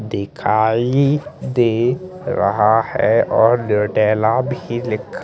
दिखाई दे रहा है और भी लिख--